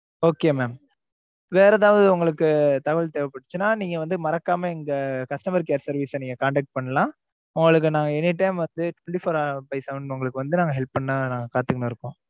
okay mam வேற ஏதாவது உங்களுக்கு தகவல் தேவைப்பட்டசுன்னா நீங்க வந்து மறக்காம இங்க customer care service அ நீங்க contact பண்ணலாம். உங்களுக்கு நாங்க any time வந்து உங்களுக்கு வந்து help பண்ண காத்துக்கிட்டு இருக்கோம்.